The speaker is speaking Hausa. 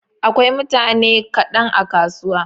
Akwai mutane kaɗan a kasuwa.